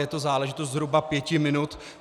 Je to záležitost zhruba pěti minut.